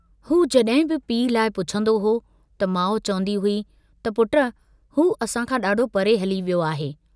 हू जॾहिं बि पीउ लाइ पुछंदो हो त माउ चवन्दी हुई त पुट हू असां खां डाढो परे हली वियो आहे।